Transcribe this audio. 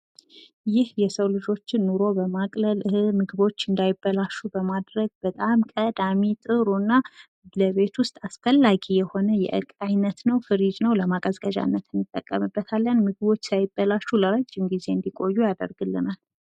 ይህ የሰው ልጆችን ኑሮ በማቅለል እህል ምግቦች እንዳይበላሽ በማድረግ በጣም ቀዳሚ ጥሩ እና ለቤት ውስጥ አስፈላጊ የሆነ የእቃ አይነት ነው ፍሪጅ ነው። ለማቀዝቀዣ እንጠቀምበታለን። ምግቦች ሳይበላሹ ለረጅም ጊዜ እንድቆዩ ያደርግልናል።